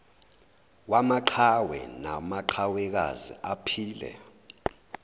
wamaqhawe namaqhawekazi aphile